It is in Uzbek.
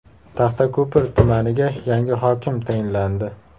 Taxtako‘pir tumaniga yangi hokim tayinlandi.